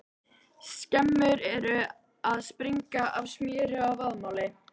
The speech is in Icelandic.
Skemmur eru að springa af smjöri og vaðmáli!